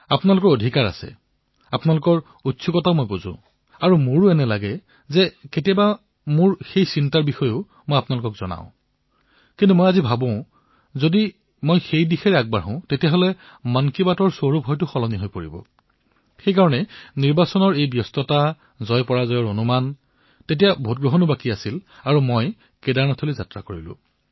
আপোনাৰ অধিকাৰ আছে আপোনাৰ জিজ্ঞাসাও মই বুজি পাও আৰু মোৰো এনে লাগে যে কেতিয়াবা সেই ভাব মই আপোনালোকলৈও প্ৰেৰণ কৰো কিন্তু আজি মোৰ এনে লাগিছে যে সেই দিশলৈ যদি মই গুচি যাও তেন্তে মন কী বাতৰ ৰূপেই পৰিৱৰ্তন হৈ পৰিব আৰু সেইবাবে নিৰ্বাচনৰ এই ধামখুমীয়া জয়পৰাজয়ৰ অনুমান তেতিয়া ভোট গণনাও বাকী আছিল আৰু মই গুচি গলো